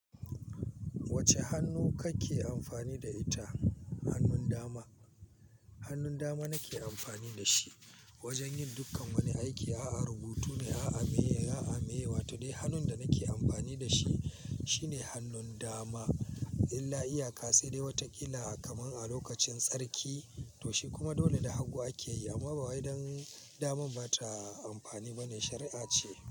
Wacce hannu kake amfani da ita? Hannun dama hannun dama nake amfani dashi wajan yi dukan wani aiki. A'a rubutu ne, a'a maye, a'a mayewa. To dai hannun da nake amfani da shi shine hannun dama. Illa iyaka sai dai wata illa kamar a lokacin tsarki to shi kuma dole da hagu ake yi. Amma ba wai dan damar ba ta amfani bane shari'a ce.